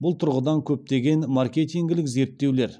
бұл тұрғыда көптеген маркетингілік зерттеулер